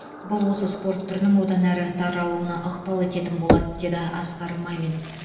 бұл осы спорт түрінің одан әрі таралуына ықпал ететін болады деді асқар мамин